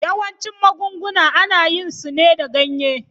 Yawancin magunguna ana yin su ne da ganye.